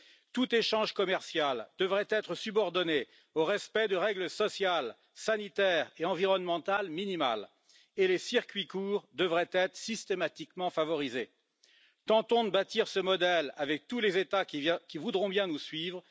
Tout échange commercial devrait être subordonné au respect de règles sociales, sanitaires et environnementales minimales, et les circuits courts devraient être systématiquement favorisés. Tentons de bâtir ce modèle avec tous les États qui voudront bien nous suivre.